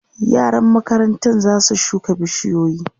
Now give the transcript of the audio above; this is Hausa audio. yaran makarantan zasu shuka bishiyoyi